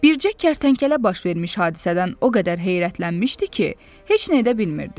Bircə kərtənkələ baş vermiş hadisədən o qədər heyrətlənmişdi ki, heç nə edə bilmirdi.